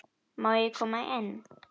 Má ég koma inn?